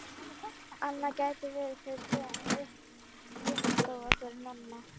Annað gæti verið fyrir þig en hitt vinnustofa fyrir Nonna.